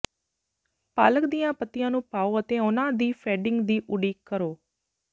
ਪਾਲਕ ਦੀਆਂ ਪੱਤੀਆਂ ਨੂੰ ਪਾਉ ਅਤੇ ਉਨ੍ਹਾਂ ਦੀ ਫੇਡਿੰਗ ਦੀ ਉਡੀਕ ਕਰੋ